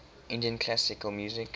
indian classical music